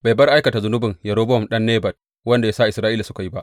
Bai bar aikata zunuban Yerobowam ɗan Nebat, wanda ya sa Isra’ila suka yi ba.